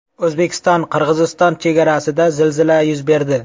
O‘zbekistonQirg‘iziston chegarasida zilzila yuz berdi.